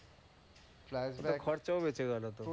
তাহলে তো খরচাও বেঁচে গেল তো?